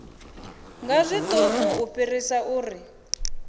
nga zwiṱuku u fhirisa uri